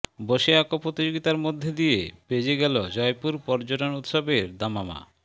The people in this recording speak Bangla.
বসে আঁকো প্রতিযোগিতার মধ্যে দিয়ে বেজে গেল জয়পুর পর্যটন উৎসবের দামামা